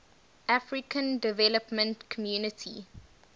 african development community